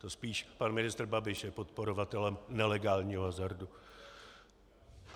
To spíš pan ministr Babiš je podporovatelem nelegálního hazardu.